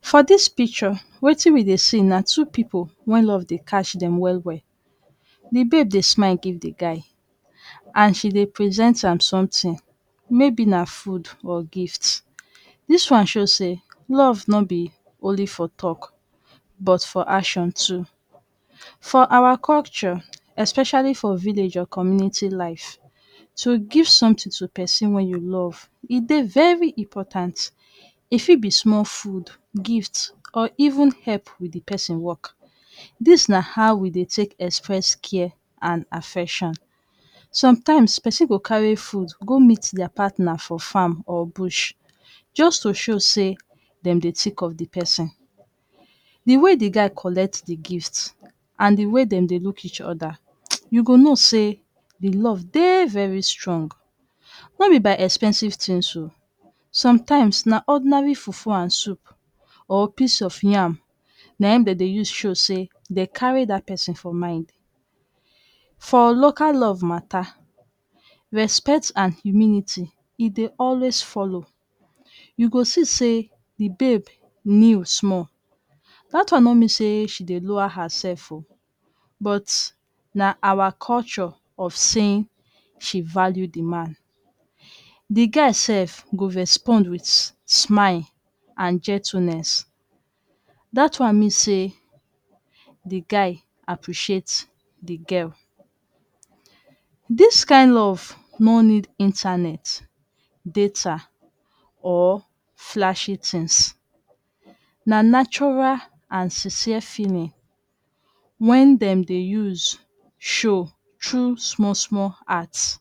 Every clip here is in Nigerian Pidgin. For dis picture, wetin we dey see na two pipu wen love dey catch dem well well. Di babe dey smile give di guy and she dey present am sumtin. Maybe na food or gift. Dis one show say love no be only for talk but for action too. For awa culture especially for village or community life, to give sumtin to pesin wey you love e dey very important. E fit be sumol food, gift, or even help with di pesin work. Dis na how we dey take express care and affection. Sometimes person go carry food go meet dia partner for farm or bush. Just to show say dem dey tik of di person. Di way di guy collect di gift, and di way dem dey look each oda, you go know say di love dey very strong. No be by expensive tings um. Sometimes, na ordinary fufu and soup, or piece of yam, na en dey dey use show say dey carry dat person for mind. For local love mata, respect and humility e dey always follow. You go see say di babe kneel sumol. Dat one no mean say she dey lower herself um, but na our culture of saying she value di man. Di guy sef go respond with smile and gentleness. Dat one mean say di guy appreciate di girl. Dis kain love no need internet, data, or flashy tings. Na natura and sincere feeling, wen dem de use show true sumol sumol acts.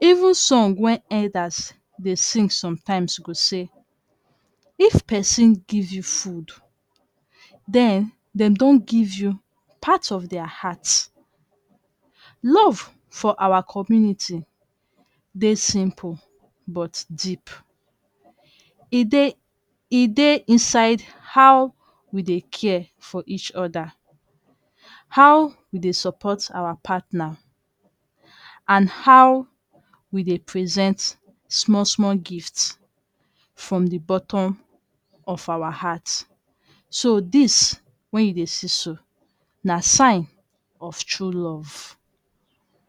Even song wen elders dey sing sometimes go say, "If person give you food, den dem don give you part of dia heart". Love for awa community dey simple, but deep. E dey e dey inside how we dey care for each oda, how we dey support our patna, and how we dey present sumol sumol gifts from di bottom of our heart. So dis, wen you dey see so, na sign of true love.